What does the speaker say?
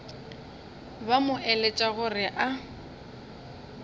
ba mo eletša gore a